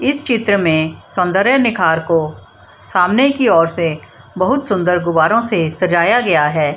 इस चित्र में सौंदर्य निखार को स सामने की ओर से बहुत सुंदर गुब्बारों से सजाया गया है।